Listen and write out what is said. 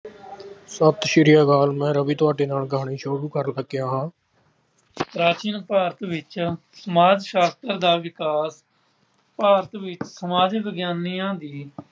ਸਤਿ ਸ਼੍ਰੀ ਅਕਾਲ ਮੈਂ ਰਵੀ ਤੁਹਾਡੇ ਨਾਲ ਕਹਾਣੀ ਸ਼ੁਰੂ ਕਰਨ ਲੱਗਿਆ ਹਾਂ। ਪ੍ਰਾਚੀਨ ਭਾਰਤ ਵਿੱਚ ਸਮਾਜ ਸ਼ਾਸਤਰ ਦਾ ਵਿਕਾਸ ਭਾਰਤ ਵਿੱਚ ਸਮਾਜ ਵਿਗਿਆਨੀਆਂ ਦੀ